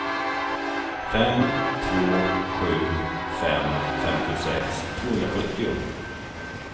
fem två sju fem femtiosex tvåhundrasjuttio